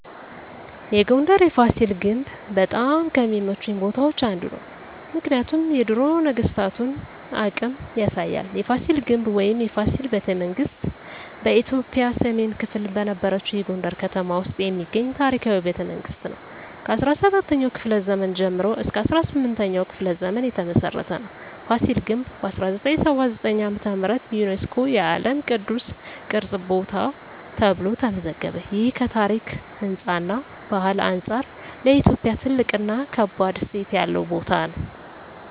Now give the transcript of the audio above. የጎንደር የፋሲል ግንብ በጣም ከሚመቹኝ ቦታዎች አንዱ ነው። ምክንያቱም የድሮ ነገስታቶን አቅም ያሳያል። የፋሲል ግንብ ወይም “የፋሲል ቤተመንግስት ” በኢትዮጵያ ሰሜን ክፍል በነበረችው የጎንደር ከተማ ውስጥ የሚገኝ ታሪካዊ ቤተመንግስት ነው። ከ17ኛው ክፍለ ዘመን ጀምሮ እስከ 18ኛው ክፍለ ዘመን የተመሰረተ ነው። ፋሲል ግንብ በ1979 ዓ.ም. ዩነስኮ የዓለም ቅዱስ ቅርስ ቦታ ተብሎ ተመዘገበ። ይህ ከታሪክ፣ ህንፃ እና ባህል አንጻር ለኢትዮጵያ ትልቅ እና ከባድ እሴት ያለው ቦታ ነው።